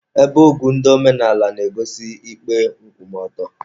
Ebe ogu ndị omenala na-egosi ikpe nkwụmọtọ.